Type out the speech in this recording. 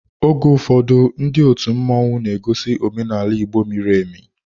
Oge ụfọdụ ndị otu mmanwu na egosi omenaala Igbo miri emi.